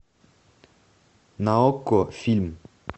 на окко фильм